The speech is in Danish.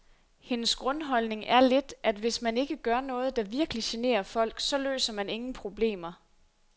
Hendes grundholdning er lidt, at hvis man ikke gør noget, der virkelig generer folk, så løser man ingen problemer.